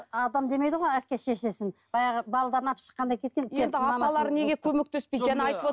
апам демейді ғой әке шешесін баяғы енді апалары неге көмектеспейді жаңа айтып